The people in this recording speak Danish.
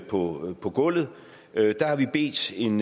på på gulvet der har vi bedt en